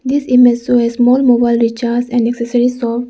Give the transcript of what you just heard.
This image show a small recharge and accessory shop.